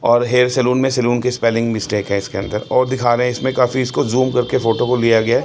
और hair salon में salon की स्पेलिंग मिस्टेक हैं इसके अंदर और दिखा रहा इसमें काफी इसको जूम करके फोटो को लिया गया--